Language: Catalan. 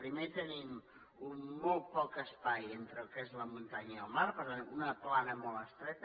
primer tenim molt poc espai entre el que és la muntanya i el mar per tant una plana molt estreta